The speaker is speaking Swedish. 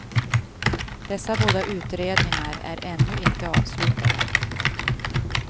Dessa båda utredningar är ännu inte avslutade.